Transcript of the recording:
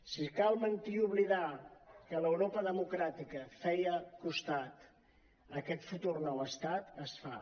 si cal mentir i oblidar que l’europa democràtica feia costat a aquest futur nou estat es fa